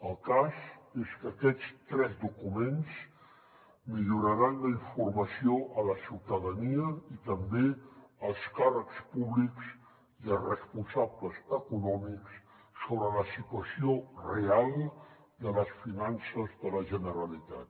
el cas és que aquests tres documents milloraran la informació a la ciutadania i també als càrrecs públics i als responsables econòmics sobre la situació real de les finances de la generalitat